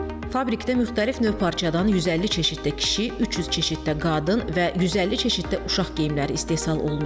Fabrikdə müxtəlif növ parçadan 150 çeşiddə kişi, 300 çeşiddə qadın və 150 çeşiddə uşaq geyimləri istehsal olunur.